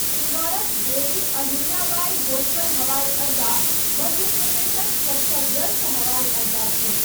इन्दौरक देवी अहिल्याबाई होल्कर हवाई अड्डा मध्य प्रदेशक सभसँ व्यस्त हवाई अड्डा छै।